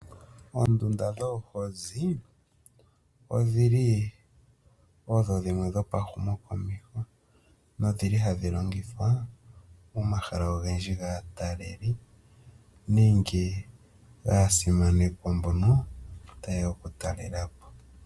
Oondunda dhoohozi odhili odho dhimwe dhopa humo komeho nodhili hadhi longithwa momahala ogendji gaataleli nenge gaasimanekwa mbono ta yeya oku talelapo.